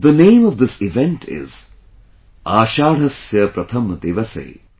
The name of this event is 'Ashadhasya Pratham Diwase'